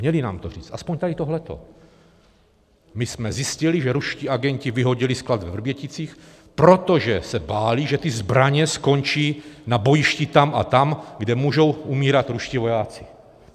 Měli nám to říct, aspoň tady tohleto: My jsme zjistili, že ruští agenti vyhodili sklad ve Vrběticích, protože se báli, že ty zbraně skončí na bojišti tam a tam, kde můžou umírat ruští vojáci.